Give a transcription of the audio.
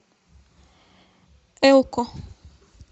элко